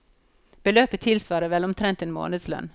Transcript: Beløpet tilsvarer vel omtrent en månedslønn.